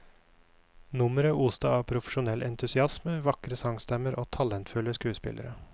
Nummeret oste av profesjonell entusiasme, vakre sangstemmer og talentfulle skuespillere.